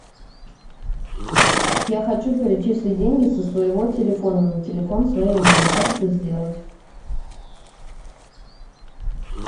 я хочу перечислить деньги со своего телефона на телефон своей мамы как это сделать